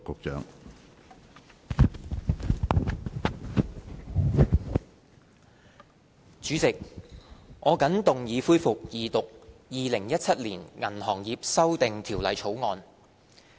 主席，我謹動議恢復二讀《2017年銀行業條例草案》。